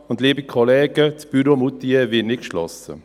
Und, liebe Kollegen, das Büro Moutier wird nicht geschlossen.